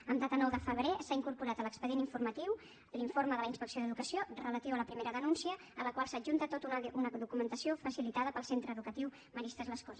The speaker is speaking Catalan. en data nou de febrer s’ha incorporat a l’expedient informatiu l’informe de la inspecció d’educació relatiu a la primera denúncia a la qual s’adjunta tota una documentació facilitada pel centre educatiu maristes les corts